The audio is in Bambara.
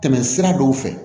Tɛmɛ sira dɔw fɛ